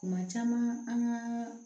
Kuma caman an ka